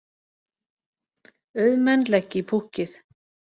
Auðmenn leggi í púkkið